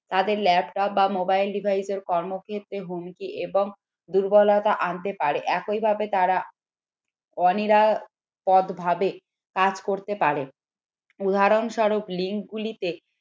তাদের laptop বা mobile device কর্মক্ষেত্রে হুমকি এবং দুর্বলতা আনতে পারে একইভাবে তারা পথ ভাবে করতে পারে উদাহরণস্বরূপ link গুলিতে